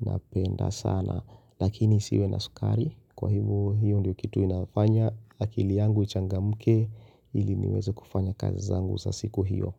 napenda sana lakini isiwe na sukari kwa hivyo hiyo ndiyo kitu inafanya akili yangu ichangamke ili niweze kufanya kazi zangu za siku hiyo.